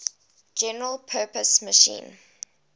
general purpose machine